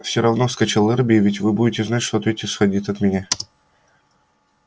все равно вскричал эрби ведь вы будете знать что ответ исходил от меня